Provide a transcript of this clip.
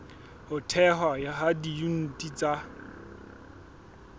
ho thehwa ha diyuniti tsa